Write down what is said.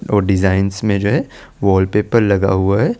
वो डिजाइनस में जो है वॉलपेपर लगा हुआ है ।